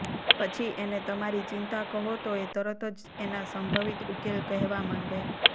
પછી એને તમારી ચિંતા કહો તો એ તરત જ એના સંભવિત ઉકેલ કહેવા માંડે